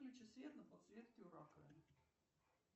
включи свет на подсветке у раковины